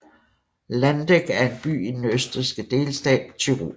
Landeck er en by i den østrigske delstat Tyrol